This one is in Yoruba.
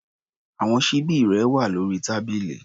Àwọn ṣíbí rẹ wà lórí tábìlì.